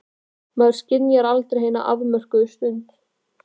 Maður skynjar aldrei hina afmörkuðu stund.